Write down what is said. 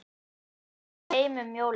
Ég ætlaði heim um jólin.